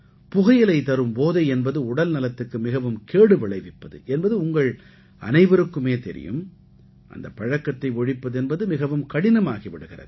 புகையிலை தரும் போதை என்பது உடல்நலத்துக்கு மிகவும் கேடு விளைவிப்பது என்பது உங்கள் அனைவருக்குமே தெரியும் அந்தப் பழக்கத்தை ஒழிப்பது என்பது மிகவும் கடினமாகி விடுகிறது